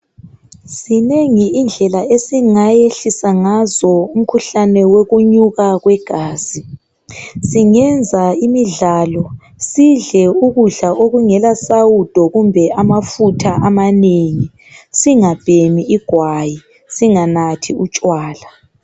Zingengi indlela esingayehlisa ngazo umkhuhlane wokunyuka kwegazi singenza imidlalo sidle ukudla okungela sawudo kumbe amafutha amanengi singabhemi igwayi singanathi utshwala